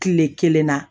Kile kelen na